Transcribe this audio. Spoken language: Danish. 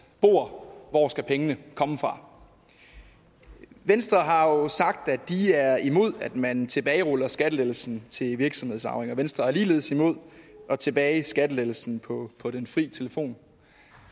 bord hvor skal pengene komme fra venstre har jo sagt at de er imod at man tilbageruller skattelettelsen til virksomhedsarvinger venstre er ligeledes imod at tilbagerulle skattelettelsen på på den fri telefon